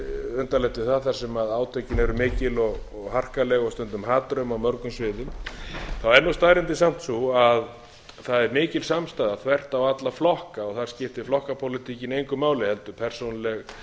undarlegt við það þar sem átökin eru mikil og harkaleg og stundum hatrömm á mörgum sviðum þá er staðreyndin samt sú að það er mikil samstaða þvert á alla flokka þar skiptir flokkapólitíkin engu máli heldur persónuleg